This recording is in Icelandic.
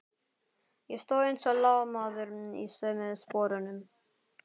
Ég stóð eins og lamaður í sömu sporunum.